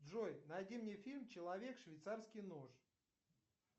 джой найди мне фильм человек швейцарский нож